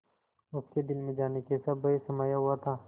उसके दिल में जाने कैसा भय समाया हुआ था